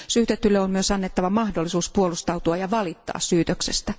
Syytetylle on myös annettava mahdollisuus puolustautua ja valittaa syytöksestä.